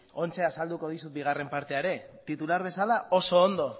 oraintxe azalduko dizut bigarren partea ere titular bezala oso ondo